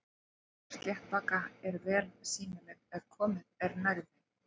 Hár sléttbaka eru vel sýnileg ef komið er nærri þeim.